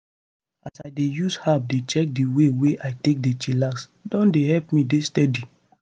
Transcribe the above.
as i dey use app dey check di way wey i take dey chillax don dey help me dey steady.